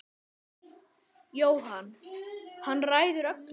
Jóhann: Hann ræður öllu?